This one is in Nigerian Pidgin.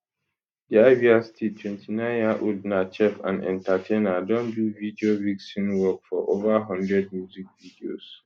di abia state 29yearold na chef and entertainer don do video vixen work for ova one hundred music videos